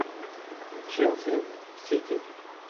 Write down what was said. челси сити